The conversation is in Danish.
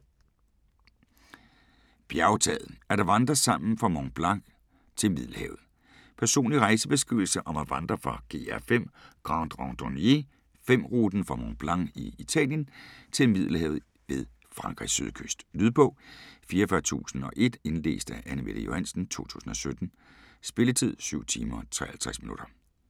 Bjergtaget: at vandre sammen fra Mont Blanc til Middelhavet Personlig rejsebeskrivelse om at vandre efter GR5 (Grande Randonnée 5) ruten fra Mont Blanc i Italien til Middelhavet ved Frankrigs sydkyst. Lydbog 44001 Indlæst af Anne-Mette Johansen, 2017. Spilletid: 7 timer, 53 minutter.